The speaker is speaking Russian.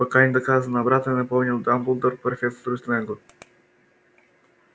пока не доказано обратное напомнил дамблдор профессору снеггу